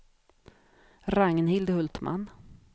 Ragnhild Hultman